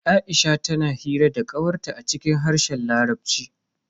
Aisha tana hira da kawar ta a cikin harshen larabci.